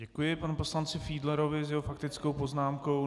Děkuji panu poslanci Fiedlerovi za jeho faktickou poznámku.